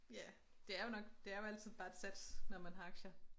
Ja det er jo nok det er jo altid bare et sats når man har aktier